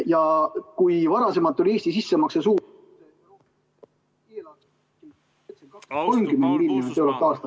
Ja kui varem oli Eesti sissemakse suurus ...